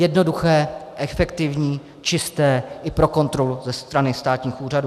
Jednoduché, efektivní, čisté i pro kontrolu ze strany státních úřadů.